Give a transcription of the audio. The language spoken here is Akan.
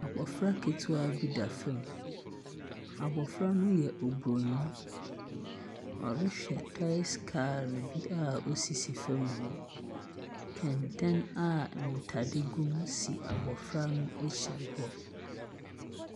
Abofra ketewa bi da famu. Abofra no yɛ Obroni. Ɔrehwɛ toys car no bi a osisi famu hɔ. Kɛntɛn a ntade gu mu si abɔfra no akyi hɔ.